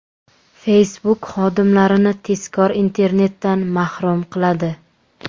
Facebook xodimlarini tezkor internetdan mahrum qiladi.